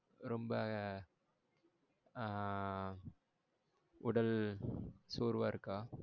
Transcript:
ரொம்ப ஆ உடல் சோர்வா இருக்கா?